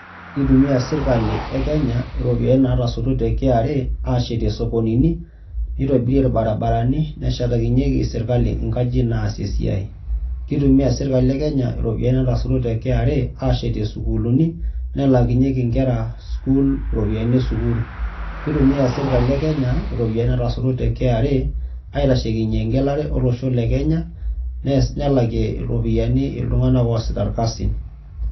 Itumia sirkali e Kenya iropiyiani natoshoto te KRA ashetie isokonini, nitobirie irbarabarani, neshetakinyeki serkali inkajijik naasie esiai. Kitumia serkali e Kenya iropiyiani natasotutuo te KRA ashetie sukuulini, nelakinyeki nkera sukuul iropiyiani esukuul. Kitumia sirkali e Kenya iropiyiani natasotutuo te KRA aitashekinye egelare olosho le Kenya, nelakie iropiyiani iltung'anak oosita irkasin.